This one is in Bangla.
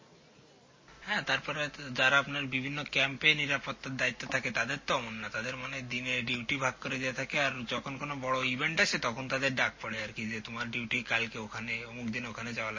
হাঁ তারপরে যারা আপনার বিভিন্ন camp এ নিরাপত্তার দায়ীত্বে থাকে তাদের তো অমন না তাদের মানে দিনে duty ভাগ করে দেওয়া থাকে আর যখন কোনো বড়ো event আসে তখন তাদের ডাক পরে আর কি যে তোমার duty ওখানে অমুকদিন ওখানে যাওয়া